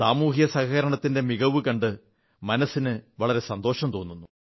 സാമൂഹികസഹകരണത്തിന്റെ മികവു കണ്ട് മനസ്സിന് വളരെ സന്തോഷം തോന്നുന്നു